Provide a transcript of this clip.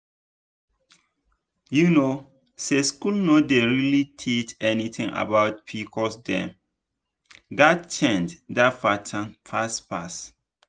you know say school no dey really teach anything about pcos dem gats change that pattern fast fast.